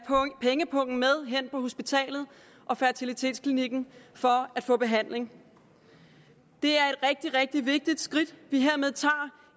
pengepungen med hen på hospitalet og fertilitetsklinikken for at få behandling det er et rigtig rigtig vigtigt skridt vi hermed tager